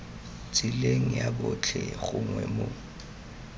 tseleng ya botlhe gongwe mo